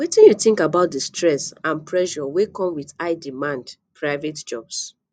wetin you think about di stress and pressure wey come with highdemand private jobs